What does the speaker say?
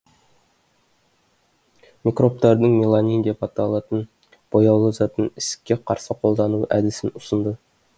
микробтардың меланин деп аталтын бояулы затын ісікке қарсы қолдану әдісін ұсынды